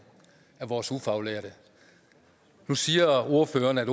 af vores ufaglærte nu siger ordføreren at